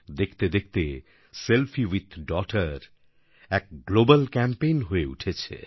দেখতে দেখতে selfie with ডগটার এক গ্লোবাল ক্যাম্পেইন হয়ে উঠেছে